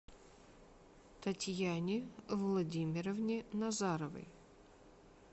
татьяне владимировне назаровой